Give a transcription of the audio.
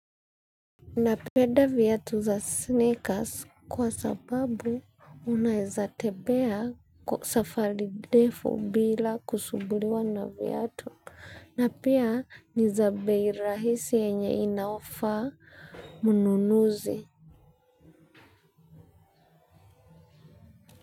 Na penda viatu za sneakers kwa sababu unaweza tembea kwa safari ndefu bila kusumbuliwa na viatu na pia niza bei rahisi enye inayofaa mnunuzi.